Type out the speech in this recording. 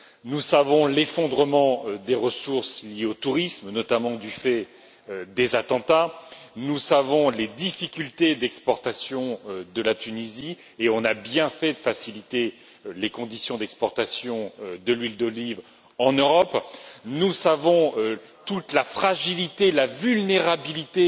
Nous savons l'effondrement des ressources liées au tourisme, notamment du fait des attentats, nous savons les difficultés d'exportation de la Tunisie et on a bien fait de faciliter les conditions d'exportation de l'huile d'olive en Europe nous savons toute la fragilité, la vulnérabilité